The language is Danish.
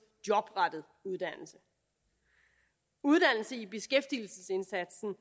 jobrettet uddannelse uddannelse i beskæftigelsesindsatsen